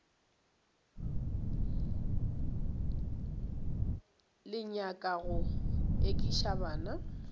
le nyaka go ekiša bana